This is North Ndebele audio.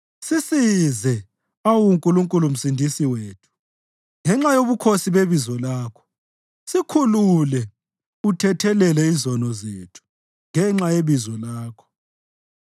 Sisize, awu Nkulunkulu Msindisi wethu, ngenxa yobukhosi bebizo lakho; sikhulule uthethelele izono zethu, ngenxa yebizo lakho.